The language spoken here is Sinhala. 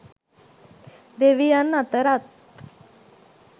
දෙවියන් අතරත්